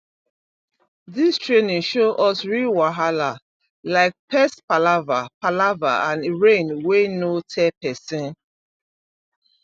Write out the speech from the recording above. this training show us real wahala like pest palava palava and rain wey no tell person